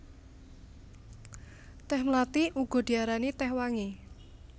Tèh mlathi uga diarani tèh wangi